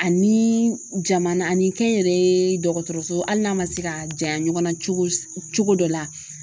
Ani jamana ani kɛnyɛrɛye dɔgɔtɔrɔso hali n'a ma se ka janya ɲɔgɔn na cogo cogo dɔ la